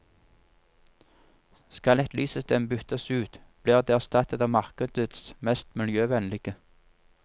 Skal et lyssystem byttes ut, blir det erstattet av markedets mest miljøvennlige.